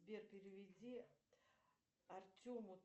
сбер переведи артему